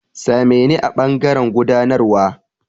Sa me ni a ɓangaren gudanarwa.